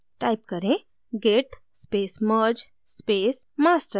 type करें: git space merge space master